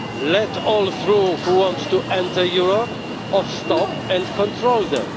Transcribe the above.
Let all through who want to enter Europe, or stop and control them?